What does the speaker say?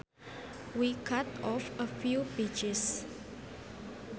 We cut off a few pieces